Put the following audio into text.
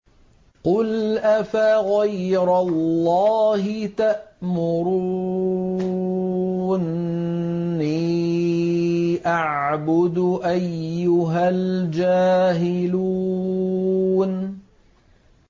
قُلْ أَفَغَيْرَ اللَّهِ تَأْمُرُونِّي أَعْبُدُ أَيُّهَا الْجَاهِلُونَ